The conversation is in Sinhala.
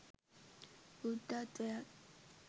බුද්ධත්වයත්